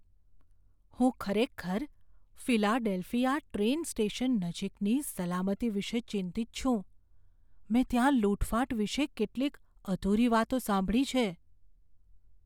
હું ખરેખર Philadelphia train station નજીકની સલામતી વિશે ચિંતિત છું, મેં ત્યાં લૂંટફાટ વિશે કેટલીક અધૂરી વાતો સાંભળી છે.